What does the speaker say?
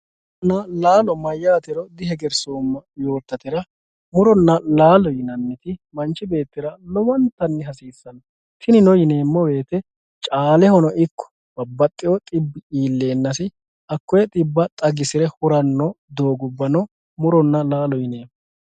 muronna laalo mayaatero dihegersooma yootateera muronna laalo yinanniri manch beettira lowontanni hasiisanno tinino yineemo woyiite caalehono ikko babbaxiyo xibbi iileenasi hakoyee xibba xagisire huranno doogubbano muronna laalote yinanni.